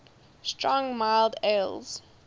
strong mild ales